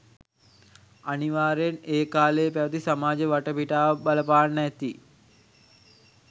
අනිවාර්යෙන්ම ඒ කාලයේ පැවති සමාජ වටපිටාව බලපාන්න ඇති